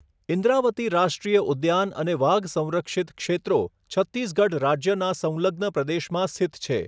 ઈન્દ્રાવતી રાષ્ટ્રીય ઉદ્યાન અને વાઘ સંરક્ષિત ક્ષેત્રો છત્તીસગઢ રાજ્યના સંલગ્ન પ્રદેશમાં સ્થિત છે.